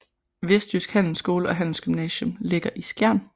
Vestjydsk Handelsskole og Handelsgymnasium ligger i Skjern